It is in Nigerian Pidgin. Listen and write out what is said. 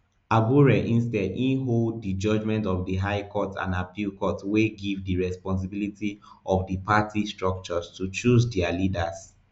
abure instead e hold di judgements of di high courts and appeal court wey give di responsibility of di party structures to choose dia leaders